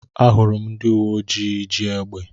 Ahụrụ m ndị uwe ojii ji égbè.